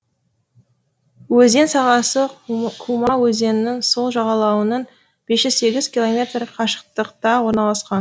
өзен сағасы кума өзенінің сол жағалауынан бес жүз сегіз километр қашықтықта орналасқан